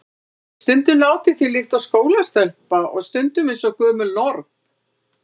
LÁRUS: Stundum látið þér líkt og skólastelpa og stundum eins og gömul norn.